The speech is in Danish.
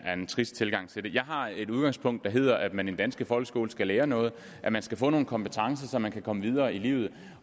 er en trist tilgang til det jeg har et udgangspunkt der hedder at man i den danske folkeskole skal lære noget at man skal få nogle kompetencer så man kan komme videre i livet